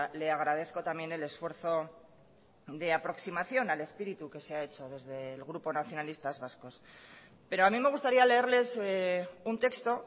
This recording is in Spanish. le agradezco también el esfuerzo de aproximación al espíritu que se ha hecho desde el grupo nacionalistas vascos pero a mí me gustaría leerles un texto